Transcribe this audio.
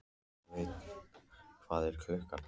Sveina, hvað er klukkan?